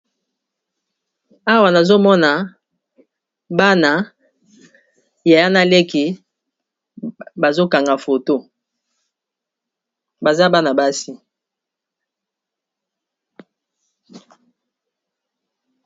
awa nazomona bana yaya na leki bazokanga foto baza bana basi